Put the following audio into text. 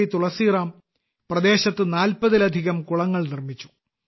തുളസിറാം പ്രദേശത്ത് 40ലധികം കുളങ്ങൾ നിർമ്മിച്ചു